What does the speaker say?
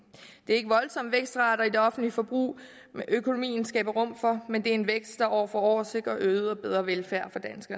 det er ikke voldsomme vækstrater i det offentlige forbrug økonomien skaber rum for men det er en vækst der år for år sikrer øget og bedre velfærd